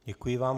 Děkuji vám.